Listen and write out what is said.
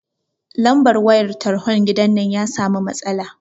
Lambar wayan talhon gidan nan ya sami matsala